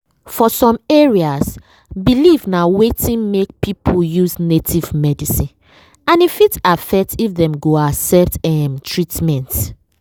for some areas belief na wetin make people use native medicine and e fit affect if dem go accept em treatment.